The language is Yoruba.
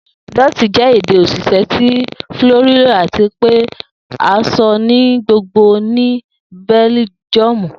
Dutch jẹ ede osise ti Fiorino ati pe a sọ ni gbogbogbo ni Bẹljiọmu.